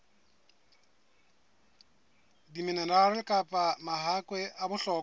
diminerale kapa mahakwe a bohlokwa